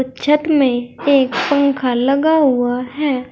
छत में एक पंखा लगा हुआ है।